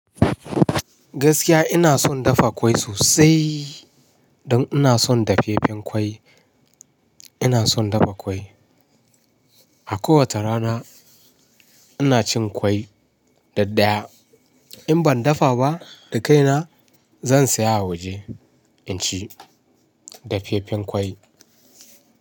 Gaskiya ina son dafa ƙwai sosai. Don ina son dafeffen ƙwai. Ina son dafa ƙwai. A kowace rana, ina cin ƙwai daddaya. In ban dafa ba da kaina zan saya a waje in ci dafeffen ƙwai.